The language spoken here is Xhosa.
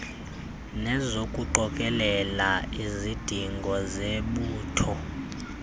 nezokuqokelela izidingo zebutho